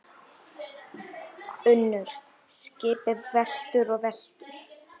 UNNUR: Skipið veltur og veltur.